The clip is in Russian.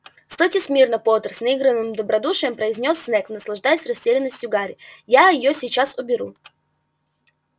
стойте смирно поттер с наигранным добродушием произнёс снегг наслаждаясь растерянностью гарри я её сейчас уберу